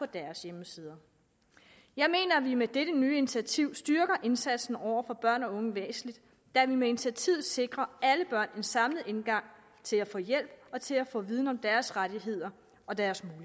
deres hjemmesider jeg mener at vi med dette nye initiativ styrker indsatsen over for børn og unge væsentligt da vi med initiativet sikrer alle børn en samlet indgang til at få hjælp og til at få viden om deres rettigheder og deres